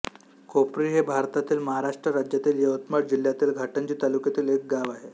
कोपरी हे भारतातील महाराष्ट्र राज्यातील यवतमाळ जिल्ह्यातील घाटंजी तालुक्यातील एक गाव आहे